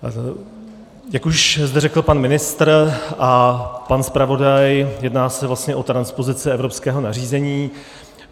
Jak už zde řekl pan ministr a pan zpravodaj, jedná se vlastně o transpozici evropského nařízení.